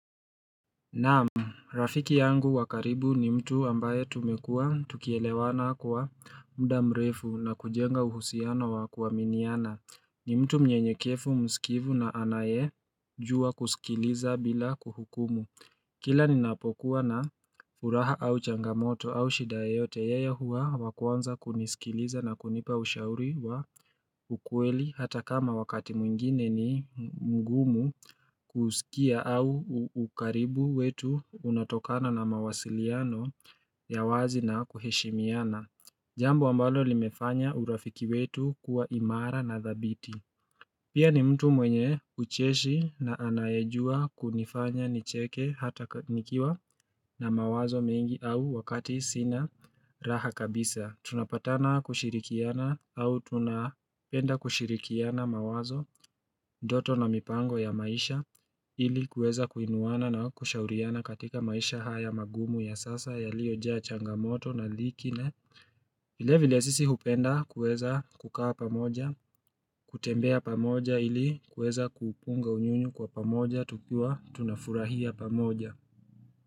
Naam rafiki yangu wa karibu ni mtu ambaye tumekua tukielewana kwa muda mrefu na kujenga uhusiano wa kuaminiana ni mtu mnyenyekevu msikivu na anayejua kusikiliza bila kuhukumu kila ninapokuwa na furaha au changamoto au shida yoyote, yeye huwa wa kwanza kunisikiliza na kunipa ushauri wa ukweli hata kama wakati mwingine ni mgumu kusikia au ukaribu wetu unatokana na mawasiliano ya wazi na kuheshimiana Jambo ambalo limefanya urafiki wetu kuwa imara na dhabiti Pia ni mtu mwenye ucheshi na anayejua kunifanya nicheke hata nikiwa na mawazo mengi au wakati sina raha kabisa Tunapatana kushirikiana au tunapenda kushirikiana mawazo, ndoto na mipango ya maisha ili kuweza kuinuana na kushauriana katika maisha haya magumu ya sasa yaliojaa changamoto na vilevile sisi hupenda kueza kukaa pamoja, kutembea pamoja ili kueza kupunga unyunyu kwa pamoja, tukiwa, tunafurahia pamoja.